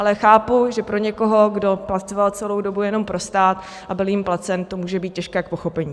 Ale chápu, že pro někoho, kdo pracoval celou dobu jenom pro stát a byl jím placen, to může být těžké k pochopení.